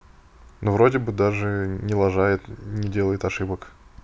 ну вроде бы даже не лажают не делает ошибок